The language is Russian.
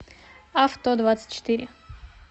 авто двадцать четыре